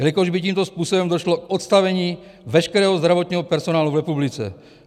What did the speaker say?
Jelikož by tímto způsobem došlo k odstavení veškerého zdravotního personálu v republice.